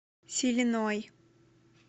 силиной